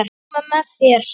Koma með þér?